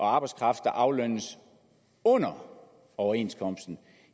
arbejdskraft der aflønnes under overenskomsten